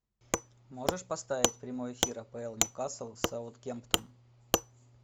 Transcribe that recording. можешь поставить прямой эфир апл ньюкасл с саутгемптон